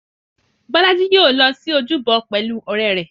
Bọ́lá í yóò lọ sí ojúbọ pẹ̀lú ọ̀rẹ́ rẹ̀.